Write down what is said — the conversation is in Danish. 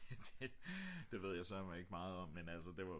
det ved jeg sørme ikke meget om men altså det var